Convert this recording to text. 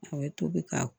A ye tobi ka